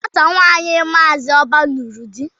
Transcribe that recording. Nwata nwaanyị Maazi Oba nụrụ di.